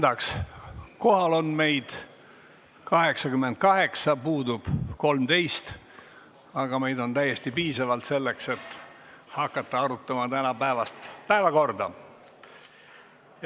Kohaloleku kontroll Kohal on meid 88, puudub 13, aga meid on täiesti piisavalt, et hakata arutama tänaseid päevakorrapunkte.